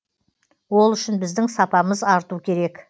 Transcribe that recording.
ол үшін біздің сапамыз арту керек